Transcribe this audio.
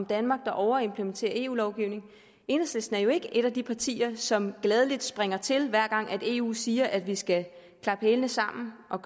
danmark overimplementerer eu lovgivning enhedslisten er jo ikke et af de partier som gladelig springer til hver gang eu siger at vi skal slå hælene sammen og